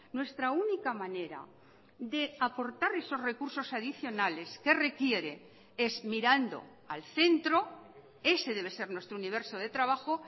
nuestra única manera de aportar esos recursos adicionales que requiere es mirando al centro ese debe ser nuestro universo de trabajo